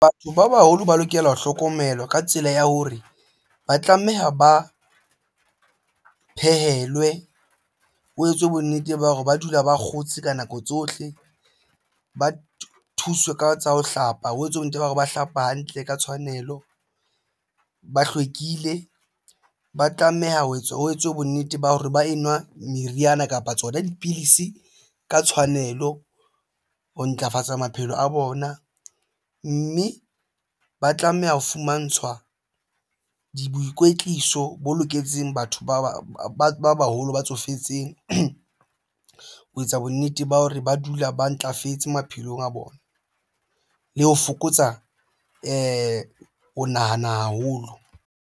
Batho ba baholo ba lokela ho hlokomelwa ka tsela ya hore ba tlameha ba phehelwe ho etswe bonnete ba hore ba dula ba kgotse ka nako tsohle ba thuswe ka tsa ho hlapa ho etswe bonnete ba hore ba hlapa hantle ka tshwanelo. Ba hlwekile ba tlameha ho etswe bonnete ba hore ba enwa meriana kapa tsona dipidisi ka tshwanelo ho ntlafatsa maphelo a bona mme ba tlameha ho fumantshwa boikwetliso bo loketseng batho ba baholo ba tsofetseng ho etsa bonnete ba hore ba dula ba ntlafetse maphelong a bona le ho fokotsa nahana haholo.